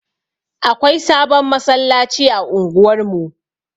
Akwai sabon masallaci a unguwar mu.